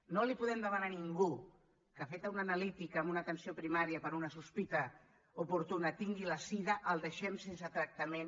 no li podem demanar a ningú que feta una analítica en una atenció primària per una sospita oportuna i tingui la sida el deixem sense tractament